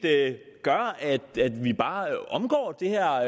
gør at vi bare omgår det her